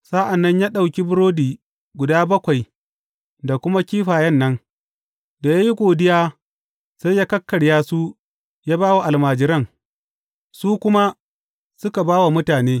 Sa’an nan ya ɗauki burodi guda bakwai da kuma kifayen nan, da ya yi godiya, sai ya kakkarya su ya ba wa almajiran, su kuma suka ba wa mutane.